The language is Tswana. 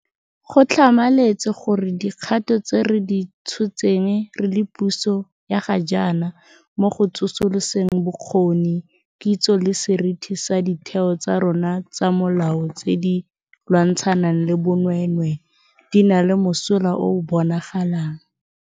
Go tlhamaletse gore dikgato tse re di tshotseng re le puso ya ga jaana mo go tsosoloseng bokgoni, kitso le seriti sa ditheo tsa rona tsa molao tse di lwantshanang le bonweenwee di na le mosola o o bonagalang.